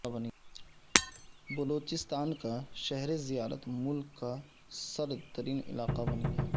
بلوچستان کا شہر زیارت ملک کا سرد ترین علاقہ بن گیا